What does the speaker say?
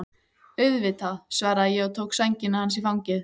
Auðvitað, svaraði ég og tók sængina hans í fangið.